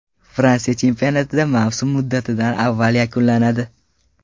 Fransiya chempionatida mavsum muddatidan avval yakunlanadi.